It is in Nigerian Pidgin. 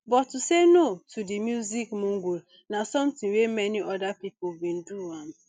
but to say no to di music mogul na something wey many oda pipo bin do um